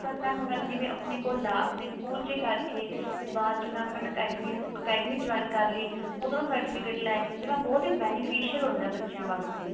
ਪਰ mam ਉਹਨਾਂ ਨੇ ਜੀਵਨ ਆਪਣੇ ਕੋਲ ਨੇ ਸਕੂਲ ਚ ਕਰਕੇ ਤੇ ਬਾਅਦ ਚ mam ਉਹਨਾਂ ਨੇ academy academy join ਕਰ ਲਈ ਉਧਰੋਂ certificate ਲੈ ਕੇ ਤੇ mam ਬਹੁਤ ਹੀ beneficial ਹੁੰਦਾ ਬੱਚਿਆਂ ਵਾਸਤੇ